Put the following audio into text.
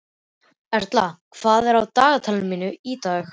Erla, hvað er í dagatalinu í dag?